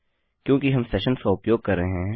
क्योंकि हम सेशन्स का उपयोग कर रहे हैं